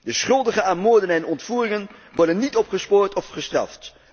De schuldigen aan moorden en ontvoeringen worden niet opgespoord of gestraft.